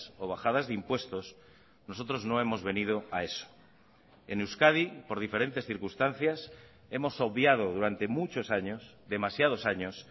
o bajadas de impuestos nosotros no hemos venido a eso en euskadi por diferentes circunstancias hemos obviado durante muchos años demasiados años